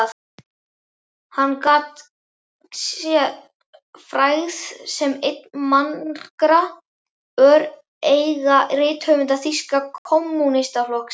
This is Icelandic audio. Gat hann sér frægð sem einn margra öreigarithöfunda Þýska kommúnistaflokksins.